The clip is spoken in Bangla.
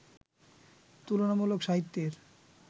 তুলনামূলক সাহিত্যের